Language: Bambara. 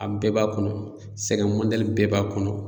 A bɛɛ b'a kɔnɔ sɛgɛn bɛɛ b'a kɔnɔ.